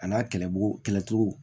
A n'a kɛlɛbugu kɛlɛ cogo